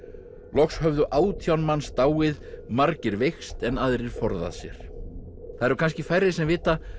loks höfðu átján manns dáið margir veikst en aðrir forðað sér það eru kannski færri sem vita